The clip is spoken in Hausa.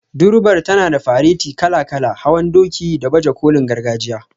Durbar tana da fareti kala-kala, hawan doki, da baje kolin gargajiya.